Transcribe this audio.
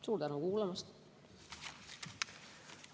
Suur tänu kuulamast!